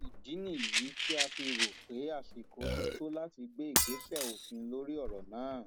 ìdí nìyí tí a fi rò ó pé àsìkò ti tó láti gbé ìgbésẹ òfin lórí ọrọ náà